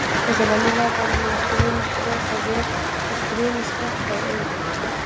Eins og venjulega var hún með stríðnisbros á vör og stríðnisglampa í augum.